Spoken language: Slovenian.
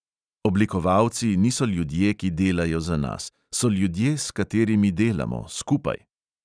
Oblikovalci niso ljudje, ki delajo za nas, so ljudje s katerimi delamo, skupaj.